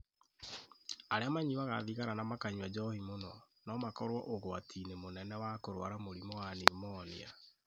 Arĩa manyuaga thigara na makanyua njohi mũno no makorũo ũgwati-inĩ mũnene wa kũrũara mũrimũ wa pneumonia